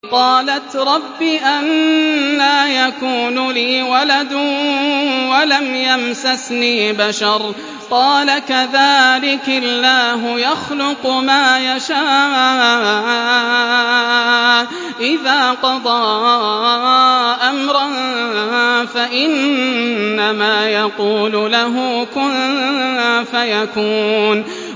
قَالَتْ رَبِّ أَنَّىٰ يَكُونُ لِي وَلَدٌ وَلَمْ يَمْسَسْنِي بَشَرٌ ۖ قَالَ كَذَٰلِكِ اللَّهُ يَخْلُقُ مَا يَشَاءُ ۚ إِذَا قَضَىٰ أَمْرًا فَإِنَّمَا يَقُولُ لَهُ كُن فَيَكُونُ